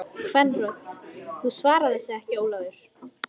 Ég skil ekki hvernig þér getur dottið svonalagað í hug!